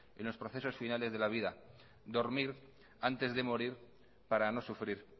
en los procesos finales de la vida dormir antes de morir para no sufrir